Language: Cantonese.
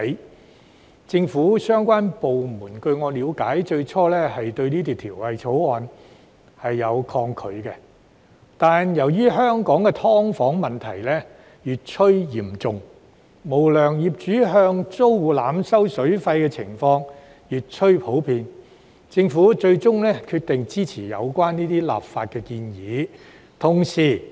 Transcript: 據我了解，政府相關部門最初對《條例草案》有點抗拒，但由於香港的"劏房"問題越趨嚴重，無良業主向租戶濫收水費的情況越趨普遍，政府最終決定支持有關的立法建議。